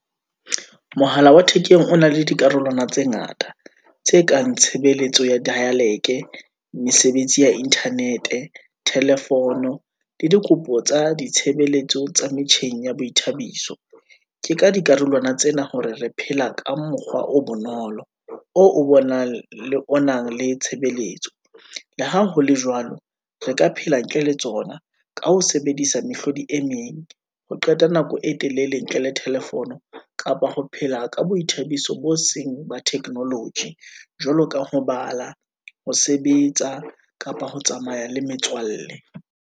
Mohala wa thekeng o na le dikarolwana tse ngata, tse kang tshebeletso ya dialike, mesebetsi ya Internet-e, telephone le dikopo tsa ditshebeletso tsa metjheng ya boithabiso. Ke ka dikarolwana tsena hore re phela ka mokgwa o bonolo, oo o bonang le o nang le tshebeletso. Le ha hole jwalo, re ka phela ntle le tsona, ka ho sebedisa mehlodi emeng, ho qeta nako e telele ntle le tephone kapa ho phela ka boithabiso bo seng ba technology, jwaloka ho bala, ho sebetsa, kapa ho tsamaya le metswalle.